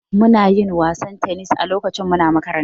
Muna yin wasan tennis a lokacin makaranta.